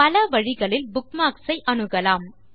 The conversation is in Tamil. பல வழிகளில் புக்மார்க்ஸ் அணுகலாம்